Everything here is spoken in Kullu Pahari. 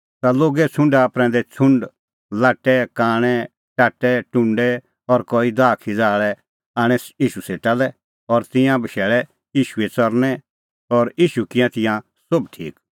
ता लोगे छ़ुंडा प्रैंदै छ़ुंड लाट्टै कांणै टाट्टै टुंडै और कई दाहखिज़ा आल़ै आणै ईशू सेटा लै और तिंयां बशैल़ै ईशूए च़रणैं और ईशू किऐ तिंयां सोभ ठीक